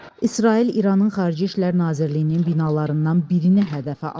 İsrail İranın Xarici İşlər Nazirliyinin binalarından birini hədəfə alıb.